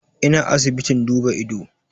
Ina asibitin duba ido